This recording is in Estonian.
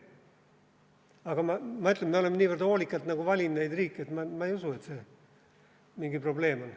Aga ma ütlen, et me oleme niivõrd hoolikalt valinud neid riike, et ma ei usu, et see mingi probleem on.